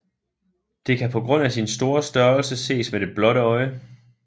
Det kan på grund af sin store størrelse ses med det blotte øje